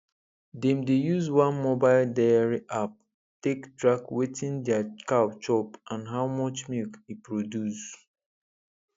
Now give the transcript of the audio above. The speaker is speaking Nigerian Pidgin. dem dey use one mobile diary app take track wetin their cow chop and how much milk e produce